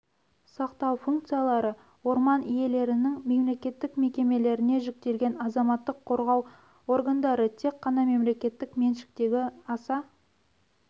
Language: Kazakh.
сақтау функциялары орман иелерінің мемлекеттік мекемелеріне жүктелген азаматтық қорғау органдары тек қана мемлекеттік меншіктегі аса